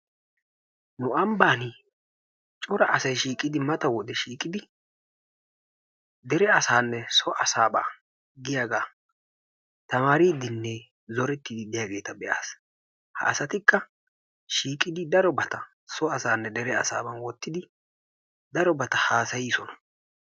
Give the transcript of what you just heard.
Nu ambban cora asay shiiqidi mata wode shiiqidi dere asanne so asaaba giyaaga tamaaridinne zooretdi diyaageeta be'aas. Ha asatikka shiiqidi darobata so asanne dere asaaba wottidi darobata haasayiisoona.